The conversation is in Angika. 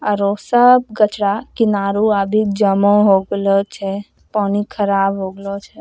आरो सब कचरा किनारो आबी जमा हो गलो छे पानी ख़राब हो गलो छे।